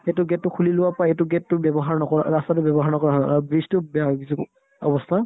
সেইটো gate টো খুলি লোৱাৰ পাই এইটো gate টো ব্যৱহাৰ নকৰা ৰাস্তাতো ব্যৱহাৰ নকৰা হ'ল আৰু bridge তো বেয়া হৈ গৈছে অৱস্থা